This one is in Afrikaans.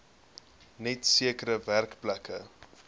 net sekere werkplekke